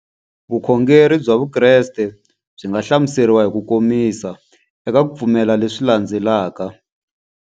Vukhongeri bya Vukreste byi nga hlamuseriwa hi kukomisa eka ku pfumela leswi landzelaka.